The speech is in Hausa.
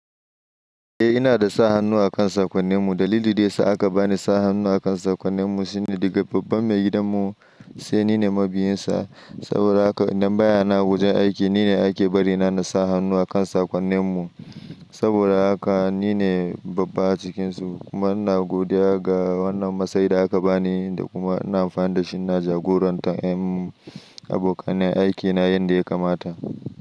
Eh ina da sa hannu akan sakonninmu. Dalilin da ya sa aka ba ni sa hannu akan sakonninmu shine daga babban maigidanmu, sai nine mabiyinsa. Saboda haka idan baya nan awajen aiki nine ake bari na nasa hannu akan sakonninmu. Saboda haka nine babba a cikinsu kuma ina godiya ga wannan matsayin da aka bani da kuma ina amfani da shi na jagorantar ƴan abokan aiki na yadda ya kamata.